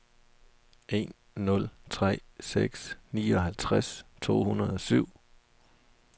en nul tre seks nioghalvtreds to hundrede og syv